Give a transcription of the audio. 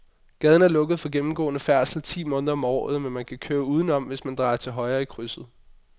Gaden er lukket for gennemgående færdsel ti måneder om året, men man kan køre udenom, hvis man drejer til højre i krydset.